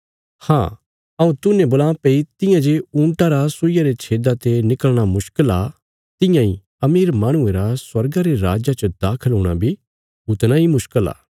हाँ हऊँ तूहने बोलां भई तियां जे ऊँटा रा सुईया रे छेदा ते निकल़णा मुश्कल आ तियां इ अमीर माहणुये रा स्वर्गा रे राज्जा च दाखल हूणा बी उतणा इ मुश्कल आ